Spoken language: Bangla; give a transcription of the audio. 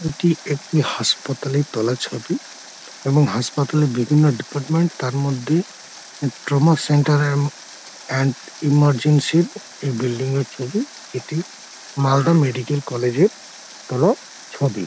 এটি একটি হাসপাতালের তোলা ছবি এবং হাসপাতালের বিভিন্ন ডিপার্টমেন্ট তার মধ্যে ট্রমা সেন্টার এন্ড এমার্জেন্সি এই বিল্ডিং ছবি এটি মালদা মেডিকেল কলেজ এর তোলা ছবি।